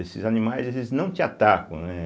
Esses animais, eles não te atacam, né?